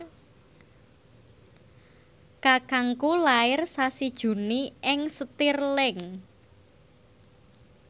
kakangku lair sasi Juni ing Stirling